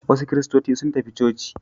Wasu kiristoci sun tafi coci.